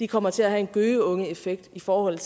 kommer til at have en gøgeungeeffekt i forhold